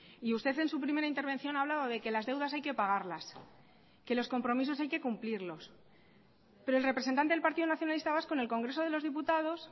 y usted en su primera intervención ha hablado de que las deudas hay que pagarlas que los compromisos hay que cumplirlos pero el representante del partido nacionalista vasco en el congreso de los diputados